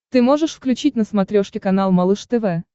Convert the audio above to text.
ты можешь включить на смотрешке канал малыш тв